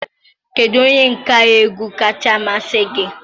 Kedu onye nka egwu kacha amasị gị?